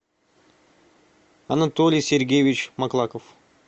анатолий сергеевич маклаков